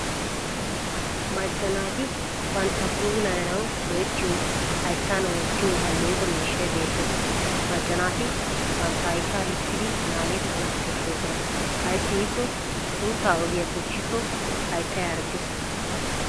Macca naati banttana puulayanawu go'ettiyo hayttan wottiyo alleeqo miishshay beettes. Macca naati bantta hayttaa lukkiiddi naagettana koshshoosona ayssi giikko suuttaa oygiya bochchikko hayttay harggees.